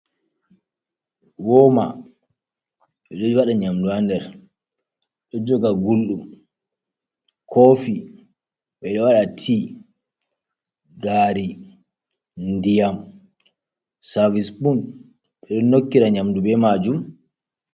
Wooma e ɗo waɗa nyamdu has nder, ɗo joga Gulɗum, koofi ɓeɗo waɗa ti, gaari, ndiyam, servis pun ɓeɗon nokkira nyamdu be maajum.